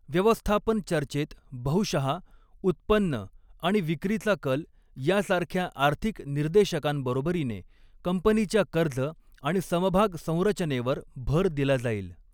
व्यवस्थापन चर्चेत बहुशहा, उत्पन्न आणि विक्रीचा कल यासारख्या आर्थिक निर्देशकांबरोबरीने कंपनीच्या कर्ज आणि समभाग संरचनेवर भर दिला जाईल.